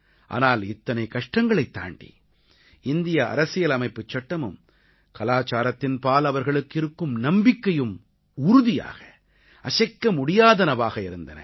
ஆனால் இத்தனை கஷ்டங்களைத் தாண்டி இந்திய அரசியலமைப்புச் சட்டமும் கலாச்சாரத்தின்பால் அவர்களுக்கு இருக்கும் நம்பிக்கையும் உறுதியாக அசைக்கமுடியாதனவாக இருந்தன